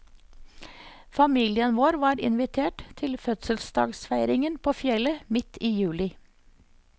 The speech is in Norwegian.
Familien vår var invitert til fødselsdagsfeiringen på fjellet midt i juli.